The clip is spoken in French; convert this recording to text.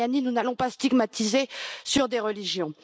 Mariani nous n'allons pas stigmatiser des religions.